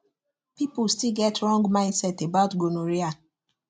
people still get wrong mindset about gonorrhea